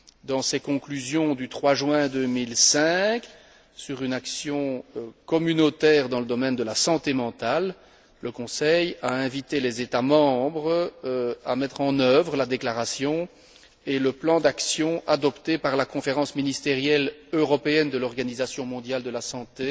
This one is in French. Dans ses conclusions du 3 juin 2005, sur une action communautaire dans le domaine de la santé mentale, le Conseil a invité les États membres à mettre en œuvre la déclaration et le plan d'action adoptés par la Conférence ministérielle européenne de l'Organisation mondiale de la santé